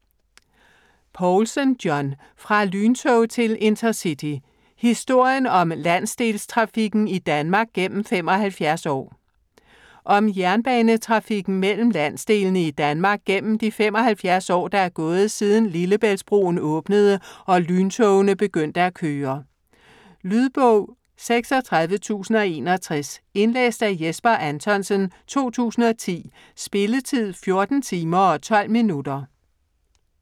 Poulsen, John: Fra lyntog til InterCity: historien om landsdelstrafikken i Danmark gennem 75 år Om jernbanetrafikken mellem landsdelene i Danmark gennem de 75 år der er gået siden Lillebæltsbroen åbnede og lyntogene begyndte at køre. Lydbog 36061 Indlæst af Jesper Anthonsen, 2010. Spilletid: 14 timer, 12 minutter.